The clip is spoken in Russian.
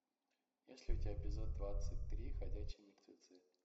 есть ли у тебя эпизод двадцать три ходячие мертвецы